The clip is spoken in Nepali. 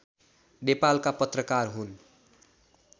नेपालका पत्रकार हुन्